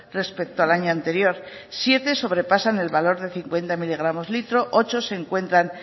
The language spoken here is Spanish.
respecto al año anterior siete sobrepasan el valor de cincuenta miligramos litro ocho se encuentran